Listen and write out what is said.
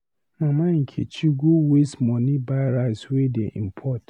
Mama Nkechi go waste money buy rice wey dey import.